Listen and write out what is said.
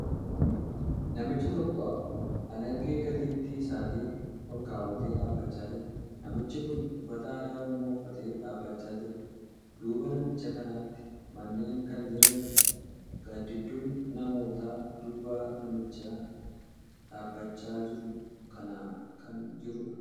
Namichi tokko alangee gateettii isaatirra olkaawatee dhaabbachaa jira. Namichi kuni uffata aadaa Oromoo uffatee dhaabbachaa jira. Duuba namicha kanaatti manneen kan jiraniidha. Gaaddidduun namootaa duuba namicha dhaabbachaa jiru kanaa kan jiruudha.